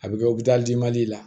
A bɛ kɛ la